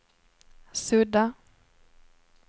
sudda